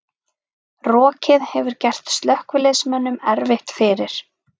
Rokið hefur gert slökkviliðsmönnum erfitt fyrir